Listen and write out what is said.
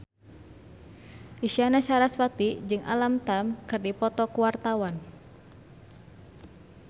Isyana Sarasvati jeung Alam Tam keur dipoto ku wartawan